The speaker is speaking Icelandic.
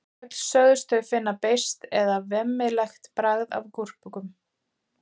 öll sögðust þau finna beiskt eða „vemmilegt“ bragð af gúrkum